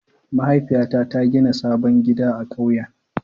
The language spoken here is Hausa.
Mahaifiyata ta gina sabon gida a ƙauyen.